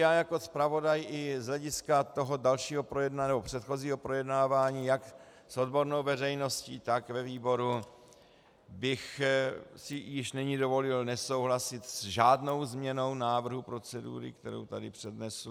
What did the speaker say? Já jako zpravodaj i z hlediska toho předchozího projednávání jak s odbornou veřejností, tak ve výboru bych si již nyní dovolil nesouhlasit s žádnou změnu návrhu procedury, kterou tady přednesu.